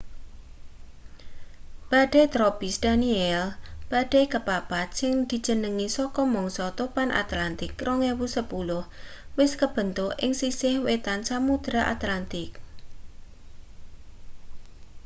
badai tropis danielle badai kepapat sing dijenengi saka mangsa topan atlantik 2010 wis kebentuk ing sisih wetan samudra atlantik